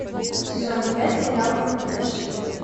сезон пять сериал компьютерщики